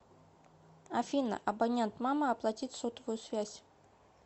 афина абонент мама оплатить сотовую связь